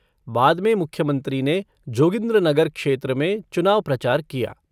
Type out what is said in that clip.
बाद में मुख्यमंत्री ने जोगिन्द्रनगर क्षेत्र में चुनाव प्रचार किया।